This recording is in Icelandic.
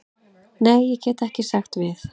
Nei, ég get ekki sagt við.